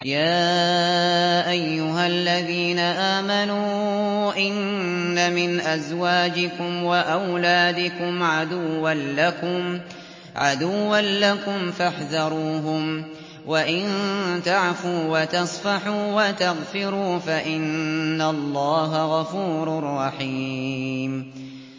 يَا أَيُّهَا الَّذِينَ آمَنُوا إِنَّ مِنْ أَزْوَاجِكُمْ وَأَوْلَادِكُمْ عَدُوًّا لَّكُمْ فَاحْذَرُوهُمْ ۚ وَإِن تَعْفُوا وَتَصْفَحُوا وَتَغْفِرُوا فَإِنَّ اللَّهَ غَفُورٌ رَّحِيمٌ